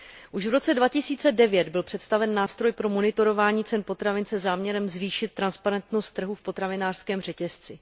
Už v roce 2009 byl představen nástroj pro monitorování cen potravin se záměrem zvýšit transparentnost trhu v potravinářském řetězci.